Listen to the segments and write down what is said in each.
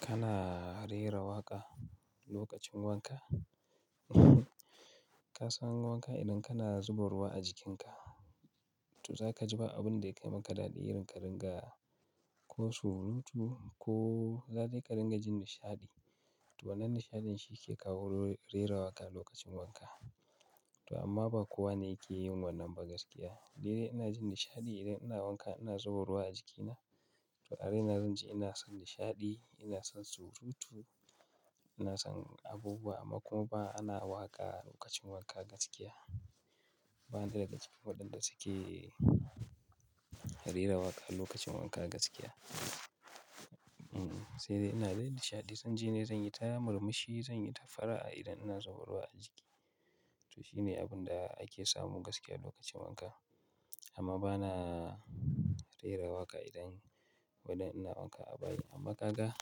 Kana rera waƙa lokacin wanka? Ka san wanka idan kana zuba ruwa a jikinka. Toh, za ka ji ba abun da yake maka daɗi, irin ƙaringa ko surutu ko za dai ƙaringa jin nishaɗi. Toh, wannan nishaɗin shi ke kawo rerawaƙa lokacin wanka. Toh amma ba kowa ne yake yin wannan ba gaskiya. Daidai ina jin nishaɗi idan ina wanka, ina zuba ruwa a jikina. Toh, a dai ina zan ji ina son nishaɗi, ina son surutu, ina son abubuwa amma kuma ba ana waƙa lokacin wanka gaskiya. Ban da daga cikin waɗanda suke rerawaƙa lokacin wanka gaskiya. Sai dai ina dai nishaɗi, zan ji ne zan yi ta murmushi, zan yi ta fara'a idan ina zuba ruwa a jiki. Toh, shine abun da ake samu gaskiya lokacin wanka. Amma ba na rerawaƙa idan wai dan ina wanka a bayi. Amma ƙaga,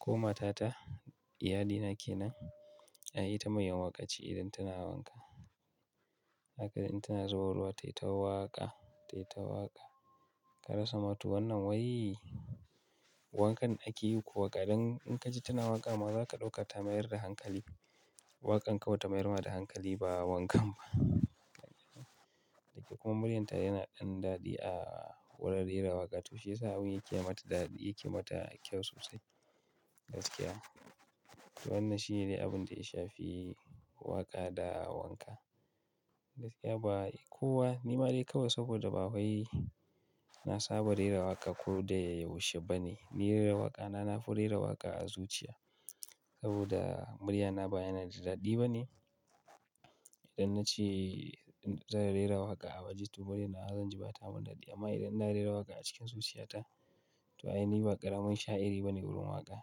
ko matata, iyalina ke nan, ai ita mai yin waƙa ce idan tana wanka. Haka dai in tana zuba ruwa, tayi ta waƙa, tayi ta waƙa. Ka rasa ma toh wannan wai wankan ake yi kuwa? Idan in ka ji tana waƙa maza, ka ɗauka ta mayar da hankali. Waƙan kawai ta mayar da hankali ba wankan ba. Toh kuma muryanta yana ɗan daɗi a wurin rerawaƙa. Toh shi ya sa abun yake mata daɗi, yake mata kyau sosai gaskiya. Wannan shine dai abun da ya shafi waƙa da wanka. Gaskiya ba kowa, ni ma dai kawai saboda ba wai na saba rerawaƙa ko da yaushe ba ne. Ni rerawaƙa na, na fi rerawaƙa a zuciya saboda muryana ba yana da daɗi ba ne. Idan na ce zan rerawaƙa a waje, toh murya na, zan ji ba ta mun daɗi. Amma idan ina rerawaƙa a cikin zuciyata, toh ai ni ba ƙaramin sha'iri ba ne wurin waƙa.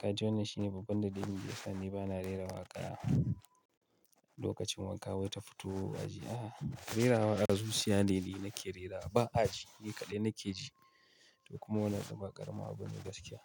Kaji wannan shine babban dalilin da yasa ni ba na rerawaƙa lokacin wanka wai ta fito a ji. A'a, rerawaƙa a zuciya ne ni nake rerawa, ba a ji. Ni kaɗai nake ji. Toh kuma wannan yanzu ba ƙaramin abu bane gaskiya.